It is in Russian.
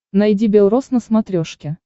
найди бел роз на смотрешке